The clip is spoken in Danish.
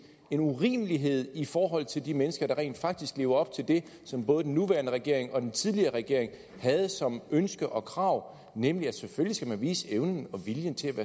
en urimelighed i forhold til de mennesker der rent faktisk lever op til det som både den nuværende regering og den tidligere regering havde som ønske og krav nemlig at selvfølgelig skal man vise evnen og viljen til